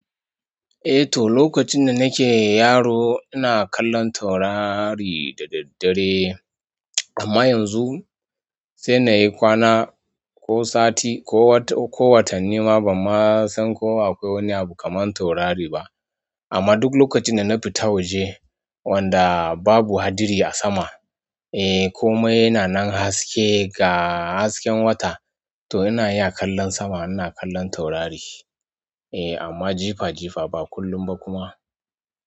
Eh to, lokacin da nake yaro ina kallon taurari da daddare amman yanzu sai nayi kwana ko sati ko watanni ba banma san ko akwai wani abu taurari ba amma duk lokacin da na fita waje wanda babu hadari a sama, eh ko mai yana nan haske ga hasken wata to ina ya kallon sama ina kallon taurari. Eh amma jifa jifa ba kullum ba kuma.